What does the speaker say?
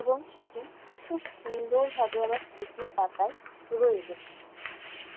এবং সেটি খুব সুন্দর ভাবে আমার স্মৃতির পাতায় রয়ে গেছে।